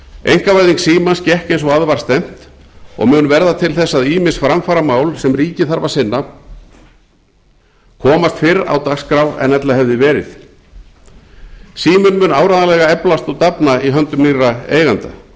einkavæðing símans gekk eins og að var stefnt og mun verða til þess að ýmis framfaramál sem ríkið þarf að sinna komast fyrr á dagskrá en ella hefði verið síminn mun áreiðanlega eflast og dafna í höndum býr eigenda